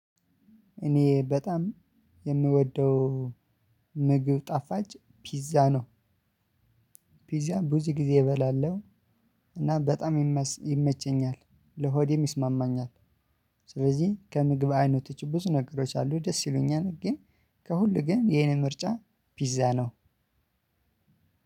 እኔ በጣም የምወደው ምግብ ጣፋጭ ፒዛ ነው። ፒዛ ብዙ ጊዜ እበላለሁ። እና በጣም ይመቸኛል ለሆዴም ይስማማኛል። ስለዚህ ከምግብ አይነቶች ብዙ ነገሮች አሉ ደስ ይሉኛል። ግን ከሁሉ ግን ይሄን ምርጫ ፒዛ ነው።